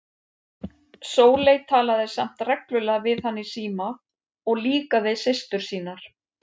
Sóley talaði samt reglulega við hann í síma og líka við systur sínar.